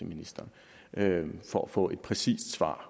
ministeren for at få et præcist svar